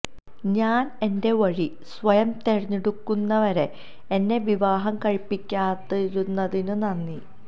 ഞാന് എന്റെ വഴി സ്വയം തിരഞ്ഞെടുക്കുന്നതുവരെ എന്നെ വിവാഹം കഴിപ്പിക്കാതിരുന്നതിനും നന്ദി